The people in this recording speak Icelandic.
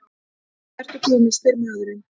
Hvað ertu gömul, spyr maðurinn.